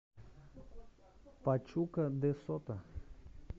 пачука де сото